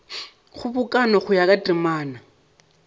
kgobokano go ya ka temana